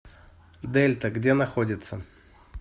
дельта где находится